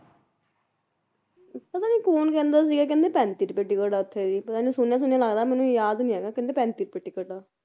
ਪਤਾ ਨੀ ਕੌਣ ਕਹਿੰਦਾ ਸੀਗਾ ਕਹਿੰਦੇ ਪੈਂਤੀ ਰੁਪਏ ticket ਆ ਉੱਥੇ, ਮੈਨੂੰ ਸੁਣਿਆ ਸੁਣਿਆ ਲੱਗਦਾ ਮੈਨੂੰ ਯਾਦ ਨੀ ਆ ਰਿਹਾ ਕਹਿੰਦੇ ਪੈਂਤੀ ਰੁਪਏ ticket ਆ